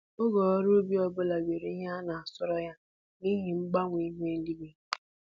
Oge ọrụ ubi ọbụla nwere ihe a na-asọrọ ya n'ihi mgbanwe ihu eluigwe